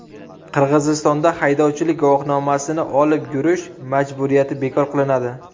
Qirg‘izistonda haydovchilik guvohnomasini olib yurish majburiyati bekor qilinadi.